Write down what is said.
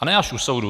A ne až u soudu.